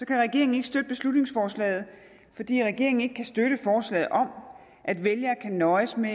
kan regeringen ikke støtte beslutningsforslaget fordi regeringen ikke kan støtte forslaget om at vælgere kan nøjes med